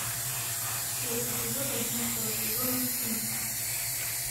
четвертый эпизод одиннадцатого сезона стыд